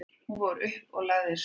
Hún fór upp og lagði sig.